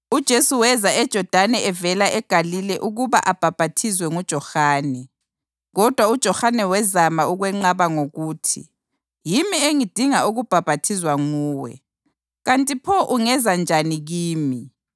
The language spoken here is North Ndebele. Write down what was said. Kodwa uJohane wazama ukwenqaba ngokuthi, “Yimi engidinga ukubhaphathizwa nguwe, kanti pho ungeza njani kimi?”